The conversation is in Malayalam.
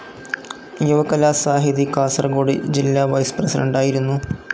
യുവകലാസാഹിതി കാസർകോട് ജില്ല വൈസ്‌ പ്രസിഡൻ്റായിരുന്നു.